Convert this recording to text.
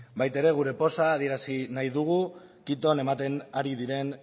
baita ere gure poza adierazi nahi dugu quiton ematen ari diren